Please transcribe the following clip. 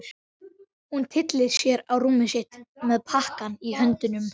Hún tyllir sér á rúmið sitt með pakkann í höndunum.